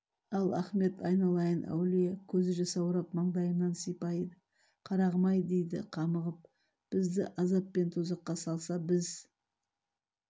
ал ахмет айналайын әулие көз жасаурап маңдайымнан сипайды қарағым-ай дейді қамығып бізді азап пен тозаққа салса біз